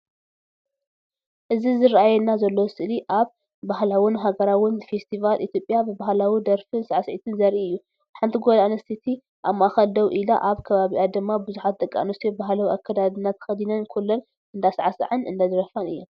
እዚ ዝረኣየና ዘሎ ስእሊ ኣብ ባህላውን ሃገራውን ፈስቲቫል ኢትዮጵያ ብባህላዊ ደርፍን ሳዕስዒትን ዘርኢ እዩ። ሓንቲ ጓል ኣንስተይቲ ኣብ ማእከል ደው ኢላ ኣብ ከባቢኣ ድማ ብዙሓት ደቂ ኣንስትዮ ባህላዊ ኣከዳድና ተኸዲነን ኩለን እንዳሳዕሰዓን እንዳደርፋን እየን።